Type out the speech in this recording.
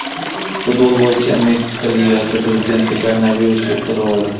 Futbol bo‘yicha Meksika ligasi prezidenti koronavirus yuqtirib oldi.